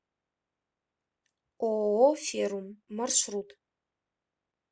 ооо феррум маршрут